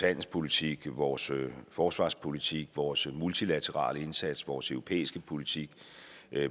handelspolitik vores forsvarspolitik vores multilaterale indsats vores europæiske politik